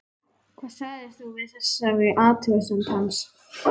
Hvað sagðir þú við þessari athugasemd hans?